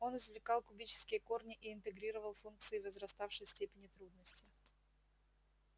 он извлекал кубические корни и интегрировал функции возраставшей степени трудности